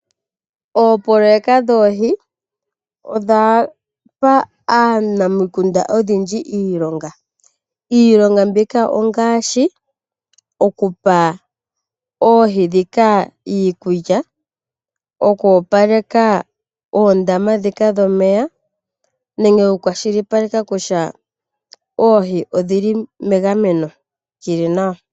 Oopoloyeka dhoohi odha pa aanamukunda oyendji iilonga. Iilonga mbika ongaashi: okupa oohi ndhika iikulya, oku opaleka oondama ndhika dhomeya nenge okukwashilipaleka kutya oohi odhi li megameno li li nawa.